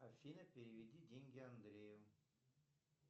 афина переведи деньги андрею